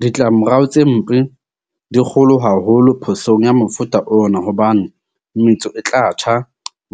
Ditlamorao tse mpe di kgolo haholo phosong ya mofuta ona hobane metso e tla tjha,